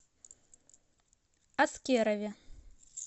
аскерове